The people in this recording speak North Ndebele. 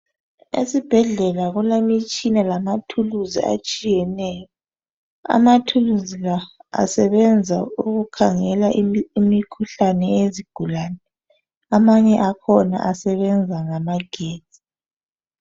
Esibhedlela kulemitshina lamathuluzi atshiyeneyo. Amathuluzi la asebenza ukukhangela imi.. imikhuhlane eyezigulane. Amanye akhona asebenza ngamagetsi.